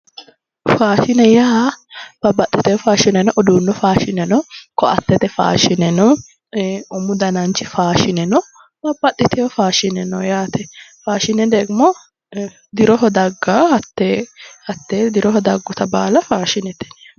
Faashinne yaa babbaxitewo faashine no uduunnu faashine no, koattete faashine no. umu dananchi faashine no babbaxxitewo faashine no yaate, faashine degimo diroho dagaa hattee diroho dagguta baala faashinete yineemmo.